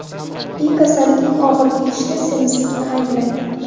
Li kasallikning og‘ir kechishida semizlikni ayblaydi.